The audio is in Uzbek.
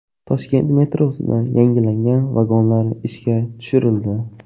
Toshkent metrosida yangilangan vagonlar ishga tushirildi.